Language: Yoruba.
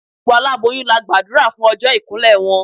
Gbogbo aláboyún la gbàdúrà fún ọjọ́ ìkún lẹ̀ wọn.